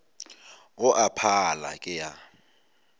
go a pala ke a